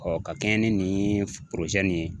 ka kɛɲɛ ni ye